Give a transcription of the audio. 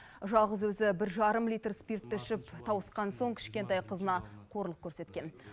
жалғыз өзі бір жарым литр спиртті ішіп тауысқан соң кішкентай қызына қорлық көрсеткен